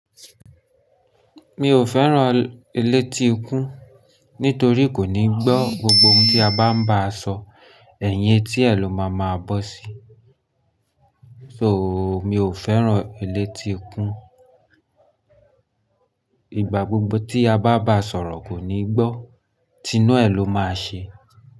Mi ò fẹ́ràn eléti ikún nítorí kò ní gbọ́ gbogbo ohun tí a bá ń bá a sọ, ẹ̀yin tí ẹ ló máa máa bọ́ sí. So mi ò fẹ́ràn eléti ikún. Ìgbà gbogbo tí a bá bá a sọ̀rọ̀ kò ní gbọ́, Tinuẹ̀ ló máa ṣe.